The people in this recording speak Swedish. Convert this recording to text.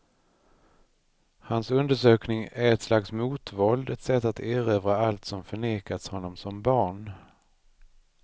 Hans undersökning är ett slags motvåld, ett sätt att erövra allt som förnekats honom som barn.